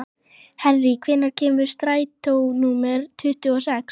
Henrý, hvenær kemur strætó númer tuttugu og sex?